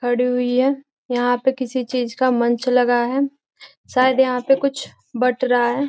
खड़ी हुई है। यहाँ पर किसी चीज का मंच लगा है शायद यहाँ पे कुछ बंट रहा है |